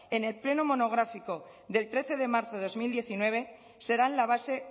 en el pleno monográfico del trece de marzo de dos mil diecinueve serán la base